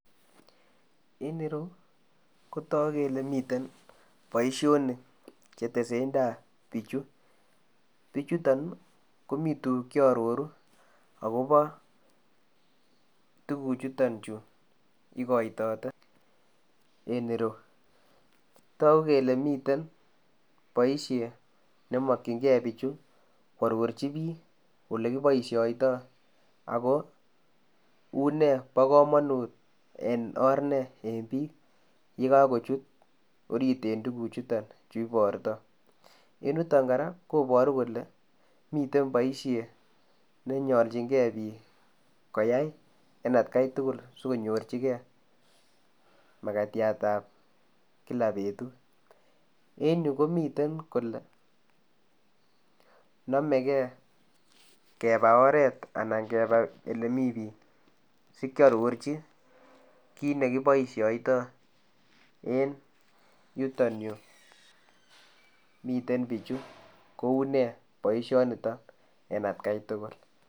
En ireyuu kotaguu kele miten boisionik che tesetai biik chuu bichutoon ii komii tuguuk che aroruu agobaa tuguuk chutoon chuu igaitate en ireuu taguu kele miten boisiet neimakyiigei bichui ko arorjii biik ole kibaishaitoi ago unee bo kamanut en or nee biik ye kako chuut oriit en biik chutoon cheibartaa en yutoon kora kobaruu kole miten boisiet nebarjingei biik koyai en at gai tugul sikonyorjiigei makatiat ab kila betut, en Yuu komiteen kole namegei kebaa oret anan kebaa ele Mii biik sikiarorjiinkiit nekibaishaitoi en yutoon Yuu miten bichuu kou nee boisioni nitoon en at gai tugul.